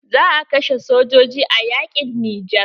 Za a kashe sojojin a yaƙin nijar.